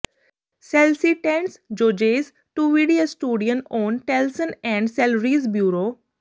ਸੈਲਸੀਟੈਂਟਸ ਜੋਜੇਸ ਟੂਡਿਵੀ ਐਸਟੂਡਿਅਨ ਔਨ ਟੈਲਸਨ ਐਂਡ ਸੈਲਰੀਜ਼ ਬਿਉਰੋ